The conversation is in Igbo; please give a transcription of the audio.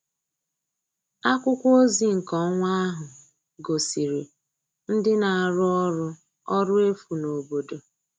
Akwụkwọ ozi nke ọnwa ahụ gosiri ndị na-arụ ọrụ ọrụ efu n'obodo